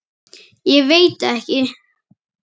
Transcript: Ég veit ekki?